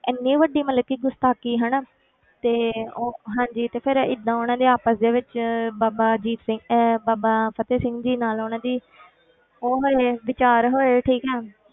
ਇੰਨੀ ਵੱਡੀ ਮਤਲਬ ਕਿ ਗੁਸਤਾਖੀ ਹਨਾ ਤੇ ਉਹ ਹਾਂਜੀ ਤੇ ਫਿਰ ਏਦਾਂ ਉਹਨਾਂ ਦੇ ਆਪਸ ਦੇ ਵਿੱਚ ਬਾਬਾ ਅਜੀਤ ਸਿੰਘ ਅਹ ਬਾਬਾ ਫਤਿਹ ਸਿੰਘ ਜੀ ਨਾਲ ਉਹਨਾਂ ਦੀ ਉਹ ਹਾਲੇ ਵਿਚਾਰ ਹੋਏ ਠੀਕ ਹੈ,